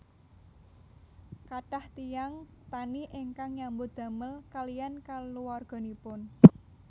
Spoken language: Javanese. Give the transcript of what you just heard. Kathah tiyang tani ingkang nyambut damel kaliyan kaluwarganipun